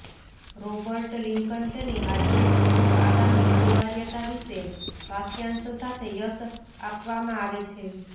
Robert Lincoln તેની હાજરી પ્રમુખ આગામી અનિવાર્યતા વિશે વાક્યાંશ સાથે યશ આપવામાં આવે છે